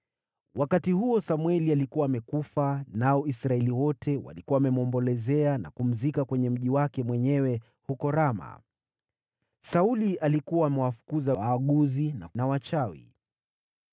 Wakati huo Samweli alikuwa amekufa, nao Israeli wote walikuwa wamemwombolezea na kumzika kwenye mji wake mwenyewe huko Rama. Sauli alikuwa amewafukuza waaguzi na wachawi.